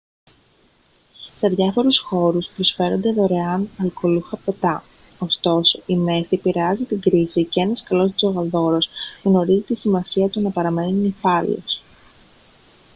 σε διάφορους χώρους προσφέρονται δωρεάν αλκοολούχα ποτά ωστόσο η μέθη επηρεάζει την κρίση και ένας καλός τζογαδόρος γνωρίζει τη σημασία του να παραμένει νηφάλιος